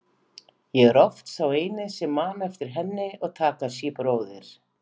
Ég er oft sá eini sem man eftir henni og Takashi bróðir.